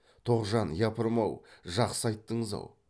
тоғжан япырмау жақсы айттыңыз ау